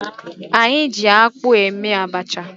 Anyị ji akpụ eme abacha